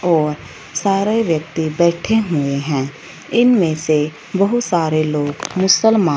और सारे व्यक्ती बैठे हुए हैं इनमें से बहुत सारे लोग मुसलमा--